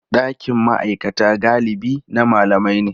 Ɗakin ma'aikata galibi na malamai ne.